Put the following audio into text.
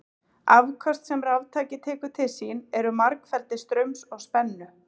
Afköst sem raftæki tekur til sín eru margfeldi straums og spennu.